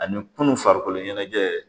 Ani kunun farikolo ɲɛnajɛ